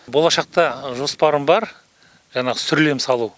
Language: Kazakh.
болашақта жоспарым бар жаңағы сүрлем салу